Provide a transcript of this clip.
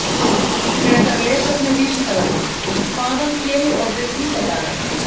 Frekara lesefni á Vísindavefnum: Hvaðan kemur orðið hundadagar?